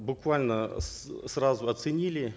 буквально сразу оценили